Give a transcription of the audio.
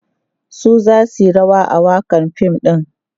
su zasu Yi rawa a wakan fim ɗin